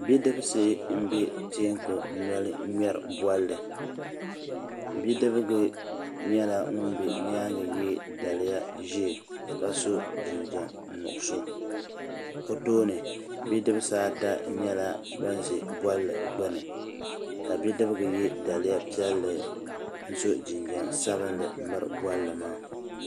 Bidibsi m be teeku noli n ŋmɛri bolli bidibga be nyɛla ŋun be nyaanga ye daliya ʒee ka so jinjiɛm nuɣuso o tooni bidibsi ata nyɛla ban ʒɛ bolli gbini ka bidibga ye daliya piɛlli n so jinjiɛm sabinli miri bolli maa.